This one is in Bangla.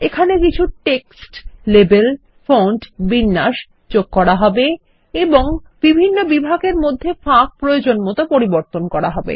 এখানেকিছু টেক্সট লেবেল ফন্ট বিন্যাস যোগ করা হবেএবং বিভিন্ন বিভাগেরমধ্যে ফাঁক প্রয়োজনমত পরিবর্তন করা হবে